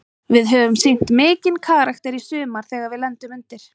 Við höfum sýnt mikinn karakter í sumar þegar við lendum undir.